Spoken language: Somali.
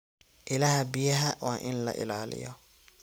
Ilaha biyaha waa in la ilaaliyo.